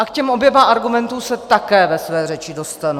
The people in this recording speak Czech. A k těm oběma argumentům se také ve své řeči dostanu.